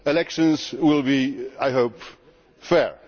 Elections will be, I hope, fair.